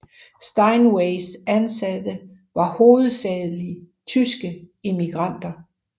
Steinways ansatte var hovedsageligt tyske immigranter